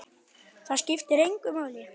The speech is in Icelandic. Það skiptir engu máli.